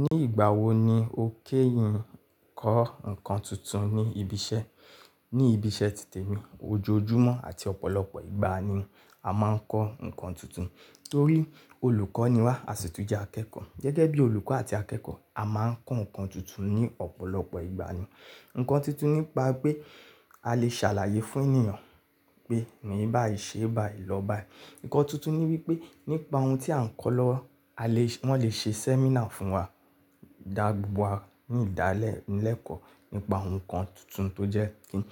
Ní ìgbà wo ni o kéyìn kọ́ ǹkan tuntun ní ibi iṣẹ́? Ní ibi iṣẹ́ títè mi, ojoojúmọ́ àti ọ̀pọ̀lọpọ̀ ìgbà ni a máa ń kọ́ ǹkan tuntun. Torí olùkọ́ ni wá, a sì tún jẹ́ akẹ́kọ̀ọ́. Gẹ́gẹ́ bí olùkọ́ àti akẹ́kọ̀ọ́, a máa ń kọ́ ǹkan tuntun ní ọ̀pọ̀lọpọ̀ ìgbà ni. Ǹkan tuntun nípa pé a lè ṣàlàyé fún ènìyàn pé, "rin báìí, ṣe báii, lọ báìí." Ǹkan tuntun ní wípé nípa ohun tí à ń kọ́ lọ́wọ́, a lè, wón lè ṣe sẹ́mínà fún wa, dá gbogbo wa ní ìdálẹ̀ lẹ́kọ̀ọ́ nípa ohun kan tuntun tó jẹ́ kí ń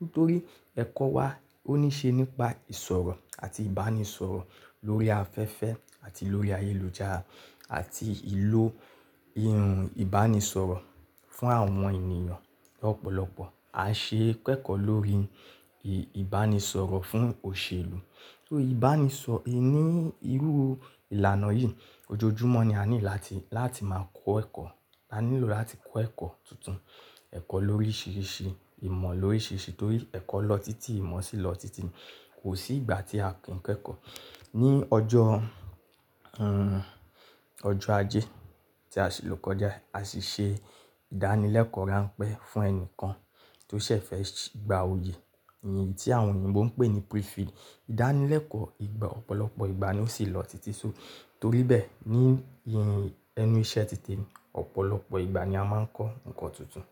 Nítorí ẹ̀kọ́ wa ó ní ṣe nípa ìsọ̀rọ̀ àti ìbánisọ̀rọ̀ lórí afẹ́fẹ́ àti lórí ayélujára àti ìlò iun ìbánisọ̀rọ̀ fún àwọn ènìyàn ọ̀pọ̀lọpọ̀. A ṣe kẹ́kọ̀ọ́ lórí ìbánisọ̀rọ̀ fún òṣèlú. So ìbánisọ ì ní irú ìlànà yìí, ojoojúmọ́ ni a need là tí, láti máa kọ́ ẹ̀kọ́. A nílò láti kọ́ ẹ̀kọ́ tuntun, ẹ̀kọ́ lórí ṣíriṣí, ìmọ̀ lórí ṣíriṣí torí ẹ̀kọ́ lọ títí, ìmọ̀ sì lọ títí. Kò sí ìgbà tí a kí ń kẹ́kọ̀ọ́. Ni ọjọ́, ẹ́, ọjọ́ ajé tí a sì ló kọjá yii, a sì ṣe ìdánilẹ́kọ̀ọ́ ránpẹ́ fún ẹni kan tó ṣẹ̀ fẹ́ gba oyè, èyí tí àwọn òyìnbó ń pè ní Prefill. Ìdánilẹ́kọ̀ọ́ ìgbà, ọ̀pọ̀lọpọ̀ ìgbà ni ó sì lọ títí. So torí bẹ́ẹ̀, ní enú iṣẹ́ títè mi, ọ̀pọ̀lọpọ̀ ìgbà ni a máa ń kọ́ ǹkan tuntun.